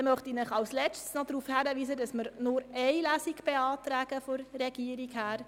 Schliesslich möchte ich Sie noch darauf hinweisen, dass die Regierung Ihnen nur eine Lesung beantragt.